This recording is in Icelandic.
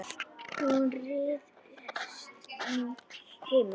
Hún ryðst inn heima.